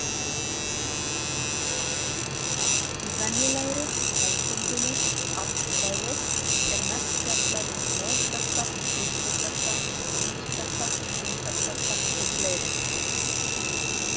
Í venjulegri, hefðbundinni aflfræði er mest fjallað um togkrafta, þrýstikrafta, núningskrafta, þyngdarkrafta og fleira.